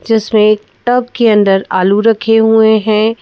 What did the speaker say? जिसमें एक टब के अंदर आलू रखे हुए हैं।